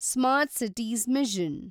smart cities mission